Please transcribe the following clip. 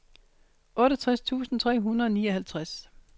otteogtres tusind tre hundrede og nioghalvtreds